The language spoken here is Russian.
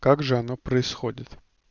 как же оно происходит